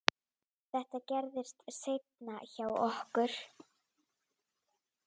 Þetta gerðist seinna hjá okkur.